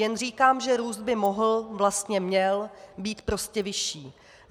Jen říkám, že růst by mohl, vlastně měl, být prostě vyšší.